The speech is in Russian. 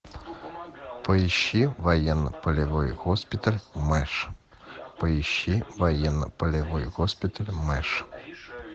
поищи военно полевой госпиталь мэш поищи военно полевой госпиталь мэш